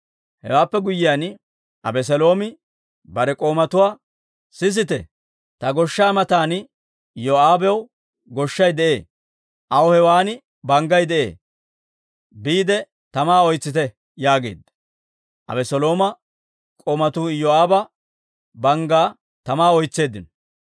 Hewaappe guyyiyaan, Abeseeloomi bare k'oomatuwaa, «sisite! Ta goshshaa matan Iyoo'aabaw goshshay de'ee; aw hewan banggay de'ee. Biide tamaa oytsite» yaageedda. Abeselooma k'oomatuu Iyoo'aaba banggaa tamaa oytseeddino.